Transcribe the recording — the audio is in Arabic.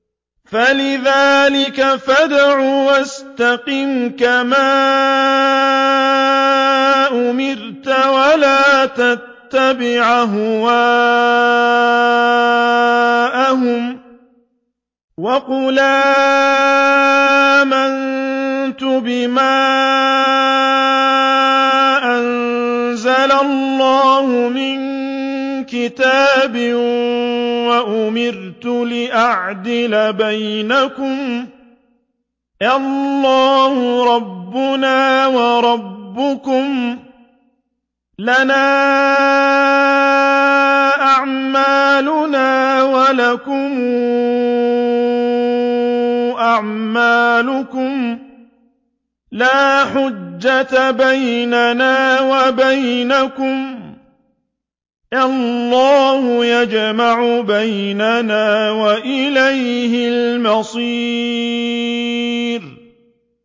فَلِذَٰلِكَ فَادْعُ ۖ وَاسْتَقِمْ كَمَا أُمِرْتَ ۖ وَلَا تَتَّبِعْ أَهْوَاءَهُمْ ۖ وَقُلْ آمَنتُ بِمَا أَنزَلَ اللَّهُ مِن كِتَابٍ ۖ وَأُمِرْتُ لِأَعْدِلَ بَيْنَكُمُ ۖ اللَّهُ رَبُّنَا وَرَبُّكُمْ ۖ لَنَا أَعْمَالُنَا وَلَكُمْ أَعْمَالُكُمْ ۖ لَا حُجَّةَ بَيْنَنَا وَبَيْنَكُمُ ۖ اللَّهُ يَجْمَعُ بَيْنَنَا ۖ وَإِلَيْهِ الْمَصِيرُ